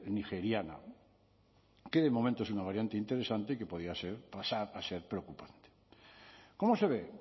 nigeriana que de momento es una variante interesante que podía ser pasar a ser preocupante como se ve